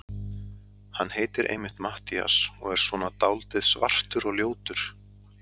Hann heitir einmitt Matthías og er svona dáldið svartur og ljótur.